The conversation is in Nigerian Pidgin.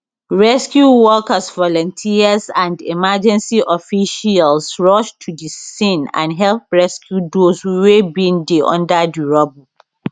rescue workers volunteers and emergency officials rush to di scene and help rescue dose wey bin dey under di rubble